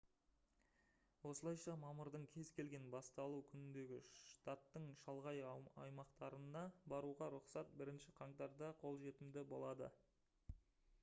осылайша мамырдың кез келген басталу күніндегі штаттың шалғай аймақтарына баруға рұқсат 1 қаңтарда қолжетімді болады